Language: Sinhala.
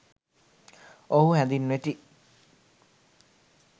ඔවුහු හැඳින්වෙති.